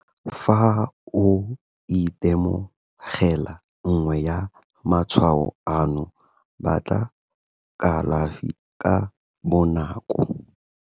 Fa o itemogela nngwe ya matshwao ano, batla kalafi ka bonako.